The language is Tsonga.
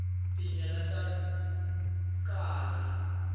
tinyala ta kala